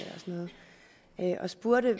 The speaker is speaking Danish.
og spurgte